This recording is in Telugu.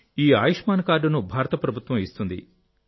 ఈ ఆయుష్మాన్ కార్డును భారత ప్రభుత్వం ఇస్తుంది